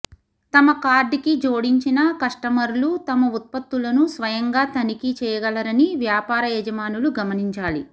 తమ కార్ట్ కి జోడించిన కస్టమర్లు తమ ఉత్పత్తులను స్వయంగా తనిఖీ చేయగలరని వ్యాపార యజమానులు గమనించాలి